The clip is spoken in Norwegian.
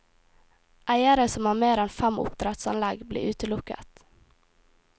Eiere som har mer enn fem oppdrettsanlegg blir utelukket.